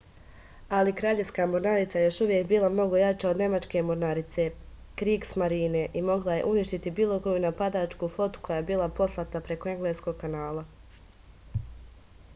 али краљевска морнарица је још увек била много јача од немачке морнарице кригсмарине и могла је уништити било коју нападачку флоту која би била послата преко енглеског канала